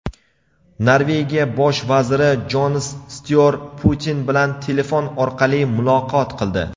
Norvegiya Bosh vaziri Jonas Styor Putin bilan telefon orqali muloqot qildi.